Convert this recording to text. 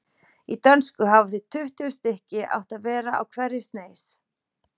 Í dönsku hafa því tuttugu stykki átt að vera á hverri sneis.